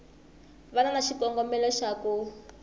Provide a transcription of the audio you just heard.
va na xikongomelo xa ku